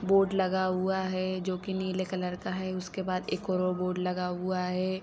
Board लगा हुआ हैं जो कि नी ले कलर का हैं उसके बाद एक और बोर्ड लगा हुआ हैं।